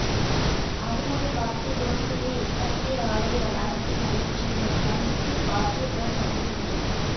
அருமனை பாக்கியபுரம் தூய எஸ்தாக்கியாா் ஆலய வளாகத்தில் நடைபெற்ற இந்த முகாமிற்கு பாக்கியபுரம் பங்குத்தந்தை